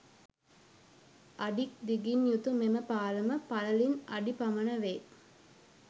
අඩික් දිගින් යුතු මෙම පාලම පළලින් අඩි . පමණ වේ